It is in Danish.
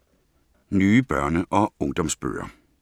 Nye børne- og ungdomsbøger